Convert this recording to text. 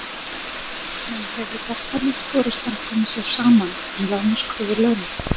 En hefur verkalýðsforystan komið sér saman um lágmarkskröfur launa?